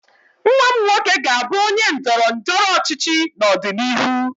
Nwa m nwoke ga-abụ onye ndọrọ ndọrọ ọchịchị n'ọdịnihu